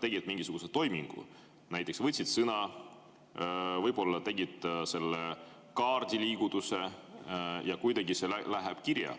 tegid mingisuguse toimingu, näiteks võtsid sõna, võib-olla tegid selle kaardiliigutuse ja kuidagi see läheb kirja.